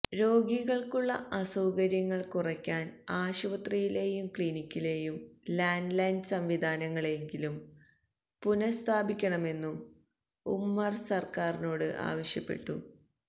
രോഗികള്ക്കുള്ള അസൌകര്യങ്ങള് കുറയ്ക്കാന് ആശുപത്രിയിലെയും ക്ലിനിക്കുകളിലെയും ലാന്റ് ലൈന് സംവിധാനങ്ങളെങ്കിലും പുനസ്ഥാപിക്കണമെന്നും ഉമര് സര്ക്കാറിനോട് ആവശ്യപ്പെട്ടു